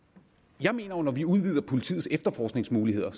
jeg mener jo at når vi udvider politiets efterforskningsmuligheder